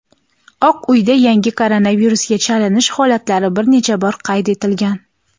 Oq uyda yangi koronavirusga chalinish holatlari bir necha bor qayd etilgan.